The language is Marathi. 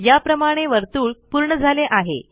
याप्रमाणे आपले वर्तुळ पूर्ण झाले आहे